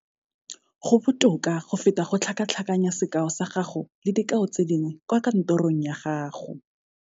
Go botoka go feta go tlhakatlhakanya sekao sa gago le dikao tse dingwe kwa kantorong ya gago.